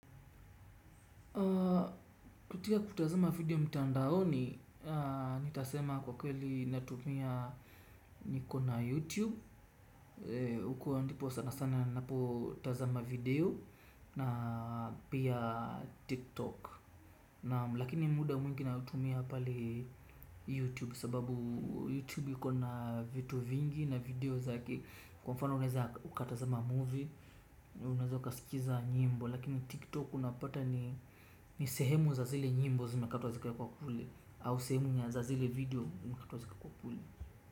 Kupitia kutazama video mtandaoni, nitasema kwa kweli natumia niko na YouTube, huko ndipo sana sana napotazama video na pia TikTok lakini muda mwingi ninautumia pale youtube youtube sababu youtube iko na vitu vingi na video. Kwa mfano unaweza ukatazama movie na unaweza ukasikiza nyimbo. Lakini tiktok kunapata ni sehemu za zile nyimbo zimekatwa zikawekwa kule.